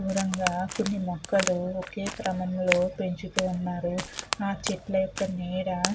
దూరంగా కొన్ని మొక్కలు ఒకే క్రమం లో పెంచుతూ ఉన్నారు. ఆ చెట్ల యొక్క నీడ --